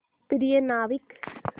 प्रिय नाविक